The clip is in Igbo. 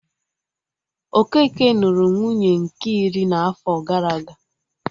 Okeke nụrụ nwunye nke iri n'afo gara aga